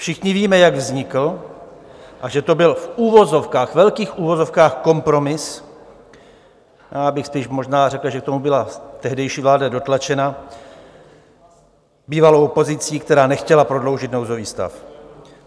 Všichni víme, jak vznikl a že to byl v uvozovkách, ve velkých uvozovkách, kompromis, já bych spíš možná řekl, že k tomu byla tehdejší vláda dotlačena bývalou opozicí, která nechtěla prodloužit nouzový stav.